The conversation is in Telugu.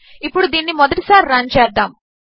ఇప్పుడు దీనిని మొదటిసారి రన్ చేద్దాము